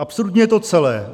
"Absurdní je to celé.